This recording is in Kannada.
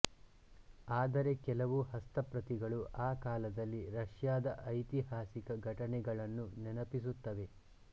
ಆದರೆ ಕೆಲವು ಹಸ್ತಪ್ರತಿಗಳು ಆ ಕಾಲದಲ್ಲಿ ರಷ್ಯಾದ ಐತಿಹಾಸಿಕ ಘಟನೆಗಳನ್ನು ನೆನಪಿಸುತ್ತವೆ